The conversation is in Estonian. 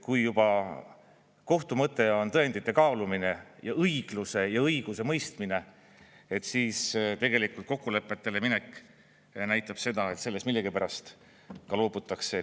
Kui juba kohtu mõte on tõendite kaalumine ja õigluse ja õiguse mõistmine, siis tegelikult kokkulepetele minek näitab seda, et sellest millegipärast ka loobutakse.